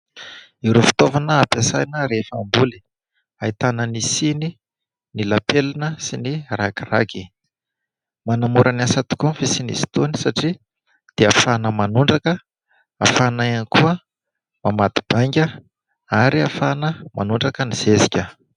Ireo fitaovana hampiasaina rehefa hamboly : ahitana ny siny, ny lapelona sy ny ragiragy. Manamora ny asa tokoa ny fisiny izy itony satria dia ahafana manondraka, ahafana ihany koa mamadi-bainga ary ahafana manondraka ny zezika.